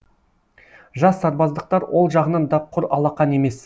жас сарбаздықтар ол жағынан да құр алақан емес